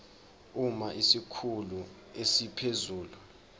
uma isikhulu esiphezulu